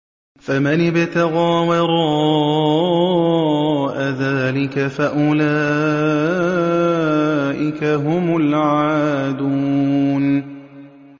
فَمَنِ ابْتَغَىٰ وَرَاءَ ذَٰلِكَ فَأُولَٰئِكَ هُمُ الْعَادُونَ